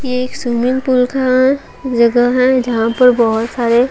ये एक swimming pool का जगह है जहां पर बहुत सारे--